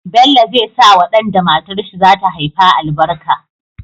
Bello zai sawa dan da matar shi zata haifa albarka